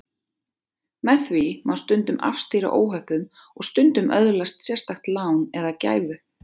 Með því má stundum afstýra óhöppum og stundum öðlast sérstakt lán eða gæfu.